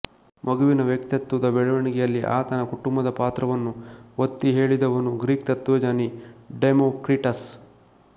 ಮಗುವಿನ ವ್ಯಕ್ತತ್ವದ ಬೆಳವಣಿಗೆಯಲ್ಲಿ ಆತನ ಕುಟುಂಬದ ಪಾತ್ರವನ್ನು ಒತ್ತಿ ಹೇಲಿದವನು ಗ್ರೀಕ್ ತತ್ವಜ್ಞಾನಿ ಡೆಮೋಕ್ರಿಟಸ್